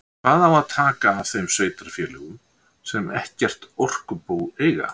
Hvað á að taka af þeim sveitarfélögum sem ekkert orkubú eiga?